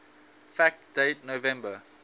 fact date november